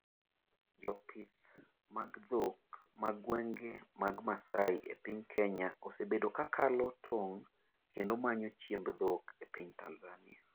jopith mag dhok ma gwenge mag Masaai e piny Kenya osebedo ka kalo tong' kendo manyo chiemb dhok e piny Tanzania